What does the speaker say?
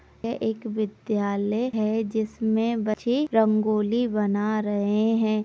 यह एक विद्यालय है जिसमें बच्चे रंगोली बना रहे हैं।